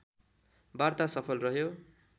वार्ता सफल रह्यो